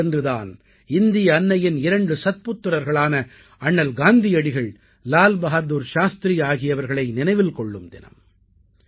இந்த நாளன்று தான் இந்திய அன்னையின் இரண்டு சத்புத்திரர்களான அண்ணல் காந்தியடிகள் லால் பகாதுர் சாஸ்திரி ஆகியவர்களை நினைவில் கொள்ளும் தினம்